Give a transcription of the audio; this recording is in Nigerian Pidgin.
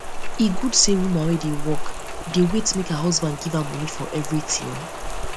e good sey woman wey dey work work dey wait make her husband give her moni for everytin